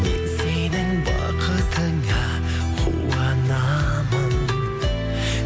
мен сенің бақытыңа қуанамын